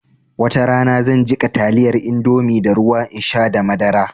Watarana zan jiƙa taliyar indomie da ruwa in sha da madara